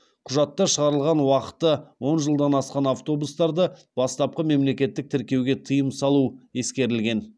құжатта шығарылған уақыты он жылдан асқан автобустарды бастапқы мемлекеттік тіркеуге тыйым салу ескерілген